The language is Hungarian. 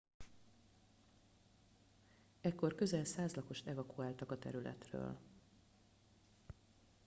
ekkor közel 100 lakost evakuáltak a területről